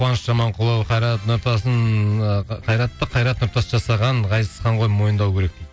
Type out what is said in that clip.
қуаныш жаманқұлов қайрат нұртасын ыыы қайратты қайрат нұртас жасаған ғазизхан ғой мойындау керек